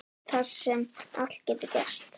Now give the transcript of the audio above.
Þar sem allt getur gerst.